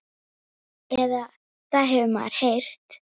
Eða það hefur maður heyrt.